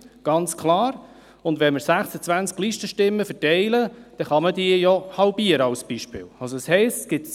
Wenn wir 26 Listenstimmen verteilen, kann man diese, um ein Beispiel zu geben, halbieren.